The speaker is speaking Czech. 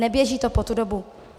Neběží to po tu dobu.